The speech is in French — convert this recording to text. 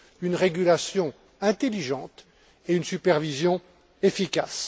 une régulation intelligente et une supervision efficace.